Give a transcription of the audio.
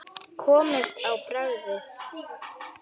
Komist á bragðið